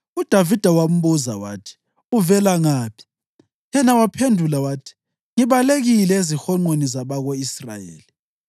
UDavida wambuza wathi, “Uvela ngaphi?” Yena waphendula wathi, “Ngibalekile ezihonqweni zabako-Israyeli.”